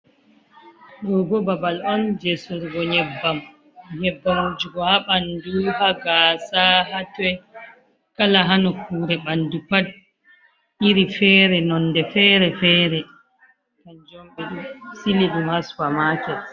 Do bo babal on je sorugo nyebbam, nyebbam wujugo ha ɓandu, ha gasa, ha toi, kala ha nokkure ɓandu pat iri fere, nonde fere fere, kanjum on ɓedo sigiɗum ha super market.